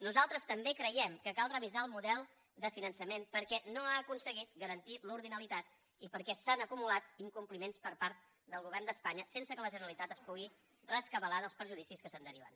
nosaltres també creiem que cal revisar el model de finançament perquè no ha aconseguit garantir l’ordinalitat i perquè s’han acumulat incompliments per part del govern d’espanya sense que la generalitat es pugui rescabalar dels perjudicis que se’n deriven